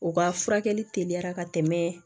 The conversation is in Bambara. O ka furakɛli teliya ka tɛmɛ